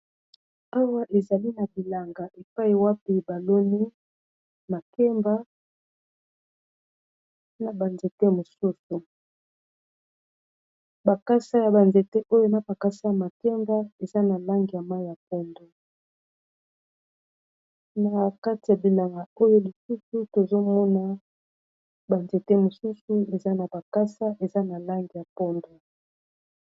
Awa ezali na bilanga epayi wapi baloni makemba na banzete mosusu bakasa ya banzete oyo na bakasa ya makemba eza na langi ya mayi ya pondo na kati ya bilanga oyo lisusu tozomona ba nzete mosusu eza na bakasa eza na lange ya pondu